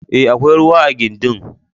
E, akwai ruwa a gindin.